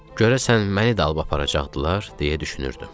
Görəsən məni də alıb aparacaqdılar, deyə düşünürdüm.